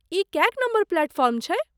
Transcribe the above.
ई कएक number platform छै?